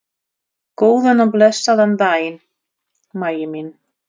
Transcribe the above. Góðan og blessaðan daginn, Maggi minn.